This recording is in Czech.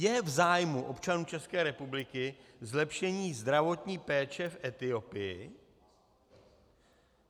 Je v zájmu občanů České republiky zlepšení zdravotní péče v Etiopii?